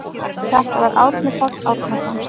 Þetta var Árni Páll Árnason.